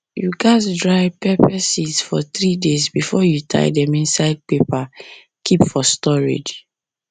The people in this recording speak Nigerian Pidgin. you gats you gats dry pepper seeds for three days before you tie dem inside paper keep for storage